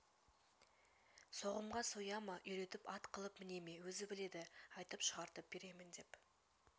соғымға соя ма үйретіп ат қылвп міне ме өзі біледі айтып шығартып беремін деп